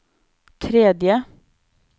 tredje